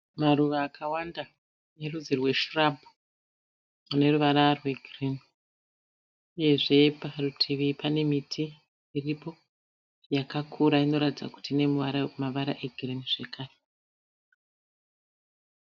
Maruva akawanda erudzi rweshirabhu aneruvara rwegirinhi. Uyezve parutivi panemiti iripo yakakura inoratidza kuti ine mavara rwegirinhi zvekare.